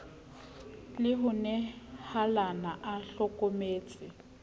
le ho nehalana a hlokometse